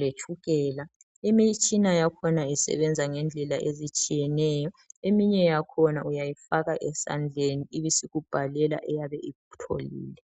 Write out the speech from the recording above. letshukela . Imitshina yakhona isebenza ngendlela ezitshiyeneyo eminye yakhona uyayifaka esandleni ibisikubhalela eyabe ikutholile.